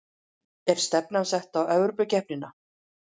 Er stefnan sett á Evrópukeppnina?